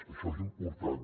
això és important